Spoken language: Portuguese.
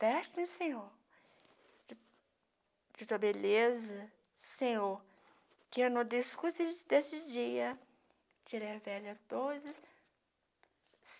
Reveste-me, Senhor, de de Tua beleza, Senhor, que eu não discute desse dia, tirei a velha doze.